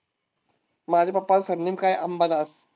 माझे पप्पांचे सरनेम काय अंबादास.